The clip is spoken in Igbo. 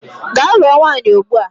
Gaa lụọ nwaanyị ugbua!